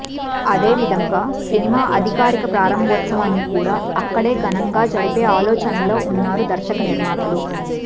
అదేవిధంగా సినిమా అధికారిక ప్రారంభోత్సవాన్ని కూడా అక్కడే ఘనంగా జరిపే ఆలోచనలో ఉన్నారు దర్శక నిర్మాతలు